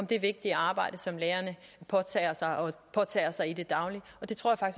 det vigtige arbejde som lærerne påtager sig og påtager sig i det daglige og det tror jeg